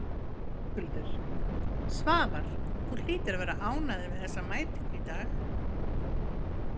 Höskuldur: Svavar, þú hlýtur að vera ánægður með þessa mætingu í dag?